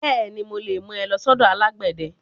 Bẹ́ẹ̀ni, mo lè mú ẹ lọ sọ́dọ̀ alágbẹ̀dẹ.